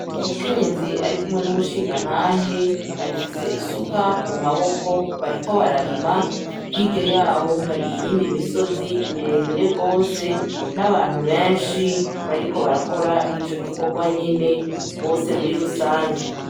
Umukenyezi ari kumwe n’umushingantahe, bafise isuka mu maboko bariko bararima. Hirya yaho hari iyindi misozi mire mire gose n’abantu benshi bariko barakora ico gikorwa nyene bose muri rusange.